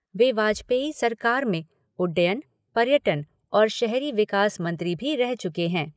वे वाजपेयी सरकार में उड्डयन, पर्यटन और शहरी विकास मंत्री भी रह चुके हैं।